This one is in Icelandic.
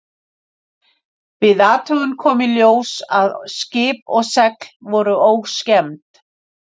Við athugun kom í ljós að skip og segl voru óskemmd.